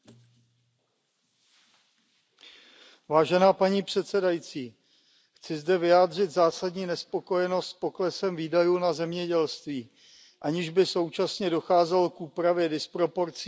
Paní předsedající, chci zde vyjádřit zásadní nespokojenost s poklesem výdajů na zemědělství, aniž by současně docházelo k úpravě disproporcí v podpoře zemědělců v jednotlivých zemích.